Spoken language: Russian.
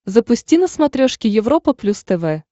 запусти на смотрешке европа плюс тв